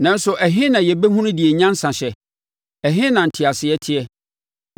Nanso ɛhe na yɛbɛhunu deɛ nyansa hyɛ? Ɛhe na nteaseɛ teɛ?